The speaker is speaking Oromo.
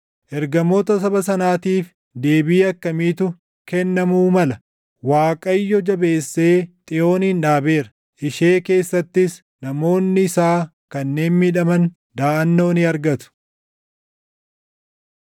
Ergamoota saba sanaatiif deebii akkamiitu kennamuu mala? “ Waaqayyo jabeessee Xiyoonin dhaabeera; ishee keessattis namoonni isaa kanneen miidhaman // daʼannoo ni argatu.”